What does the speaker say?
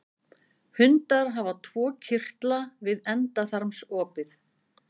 Hundar hafa tvo kirtla við endaþarmsopið.